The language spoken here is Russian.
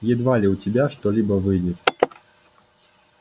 едва ли у тебя что-либо выйдет